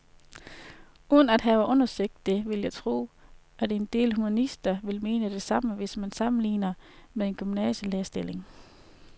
Uden at have undersøgt det vil jeg tro, at en del humanister vil mene det samme, hvis man sammenligner med en gymnasielærerstilling.